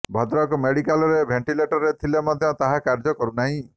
ଭଦ୍ରକ ମେଡିକାଲରେ ଭେଣ୍ଟିଲେଟର ଥିଲେ ମଧ୍ୟ ତାହା କାର୍ଯ୍ୟ କରୁନାହିଁ